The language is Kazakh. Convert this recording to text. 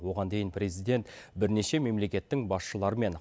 оған дейін президент бірнеше мемлекеттің басшыларымен